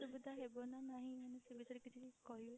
ଆସୁବିଧା ହେବ ନା ନାହିଁ ସେ ବିଷୟରେ କିଛି କହିବେ?